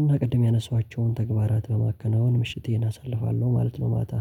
እና ቅድም ያነሷቸውን ተግባራት በማከናወን ምሽቴን አሳልፋለሁ ማለት ነው ማታ